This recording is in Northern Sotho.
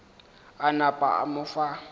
a napa a mo fa